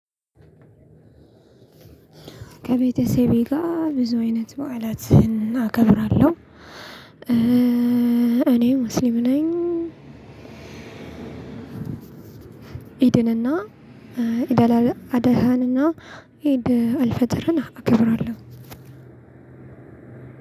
ከቤተሰቤ ጋር ብዙ አይነት በዓላት አከብራለሁ። እኔ ሙስሊም ነኝ። ኢድንና ኢድ ኢዲ አላድሃንና ኢዲልፈጥርን አከብራለሁ።